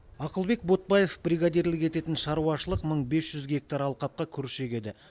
ақылбек ботбаев бригадирлік ететін шаруашылық мың бес жүз гектар алқапқа күріш егеді